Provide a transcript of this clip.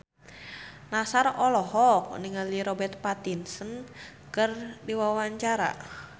Nassar olohok ningali Robert Pattinson keur diwawancara